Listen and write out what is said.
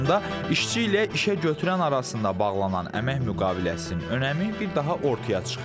Bu zamanda işçi ilə işəgötürən arasında bağlanan əmək müqaviləsinin önəmi bir daha ortaya çıxır.